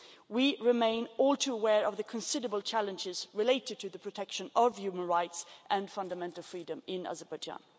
We remain all too aware of the considerable challenges relating to the protection of human rights and fundamental freedoms in Azerbaijan.